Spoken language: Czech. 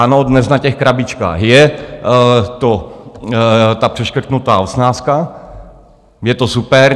Ano, dnes na těch krabičkách je ta přeškrtnutá osmnáctka, je to super.